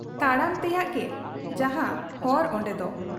ᱛᱟᱲᱟᱢ ᱛᱮᱭᱟᱜ ᱜᱮ ᱡᱟᱦᱟᱸ ᱦᱚᱨ ᱚᱱᱰᱮᱫᱚ ᱾